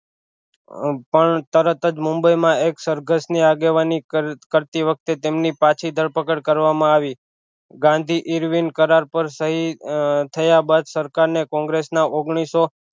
પણ તરત જ મુંબઈ માં એક સરઘષ ની આગેવાની કર કરતી વખતે તેમની પાછી ધરપકડ કરવામાં આવી ગાંધી કરાર પર સહી થયા બાદ સરકાર ને કોંગ્રેસ ના ઓગનીશો